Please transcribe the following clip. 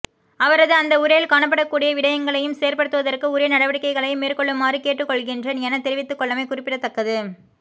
அவரது அந்த உரையில் காணப்படக்கூடிய விடயங்களையும் செயற்படுத்துவதற்கு உரிய நடவடிக்கைகளை மேற்கொள்ளுமாறும் கேட்டுக் கொள்கின்றேன் எனத் தெரிவித்துள்ளமை குறிப்பிடத்தக்கது